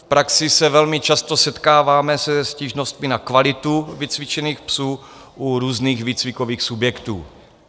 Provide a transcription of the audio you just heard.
V praxi se velmi často setkáváme se stížnostmi na kvalitu vycvičených psů u různých výcvikových subjektů.